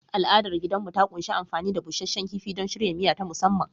Al’adar danginmu ta ƙunshi amfani da busasshen kifi don shirya miya ta musamman.